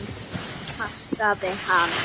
Ég passaði hana.